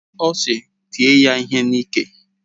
Ọ sị, tie ya ihe n'iké!